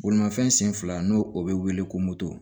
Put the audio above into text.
Bolimafɛn sen fila n'o o bɛ wele ko moto